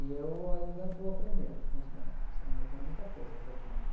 E eu ainda estou aprendendo com os menores, ainda tenho muita coisa para aprender.